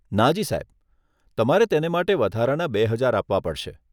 ના જી સાહેબ, તમારે તેને માટે વધારાના બે હજાર આપવા પડશે.